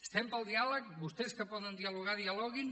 estem pel diàleg vostès que poden dialogar dialoguin